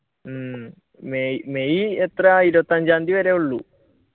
ഉം മെയ് എത്രയാ ഇരുപത്തിയഞ്ചാം തിയതി വരെ ഉള്ളു.